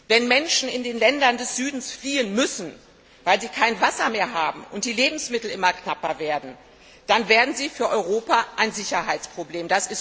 Wenn Menschen in den Ländern des Südens fliehen müssen, weil sie kein Wasser mehr haben und die Lebensmittel immer knapper werden, dann werden sie für Europa ein Sicherheitsproblem.